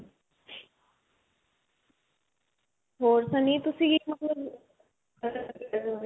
ਹੋਰ ਸੰਨੀ ਤੁਸੀਂ